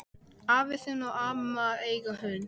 Afi þinn og amma eiga hund.